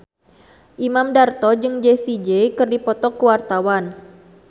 Imam Darto jeung Jessie J keur dipoto ku wartawan